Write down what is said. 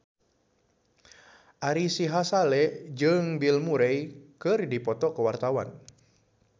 Ari Sihasale jeung Bill Murray keur dipoto ku wartawan